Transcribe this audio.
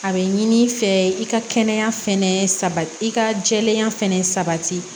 A bɛ ɲini fɛ i ka kɛnɛya fɛnɛ sa i ka jɛɛya fɛnɛ sabati